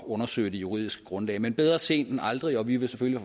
undersøge det juridiske grundlag men bedre sent end aldrig og vi vil selvfølgelig